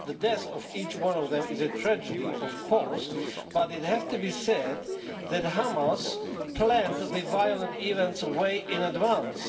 The death of each one of them is a tragedy, of course, but it has to be said that Hamas planned the violent events way in advance.